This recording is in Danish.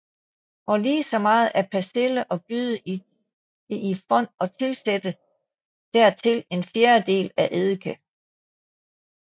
Og lige så meget af persille og gyde det i fond og tilsætte dertil en fjerdedel af eddike